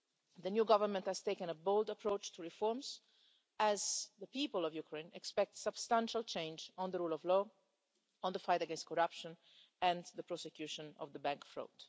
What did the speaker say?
The new government has taken a bold approach to reforms as the people of Ukraine expect substantial change on the rule of law, on the fight against corruption and the prosecution of bank fraud.